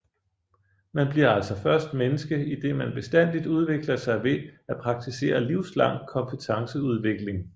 Man bliver altså først menneske idet man bestandigt udvikler sig ved at praktisere livslang kompetenceudvikling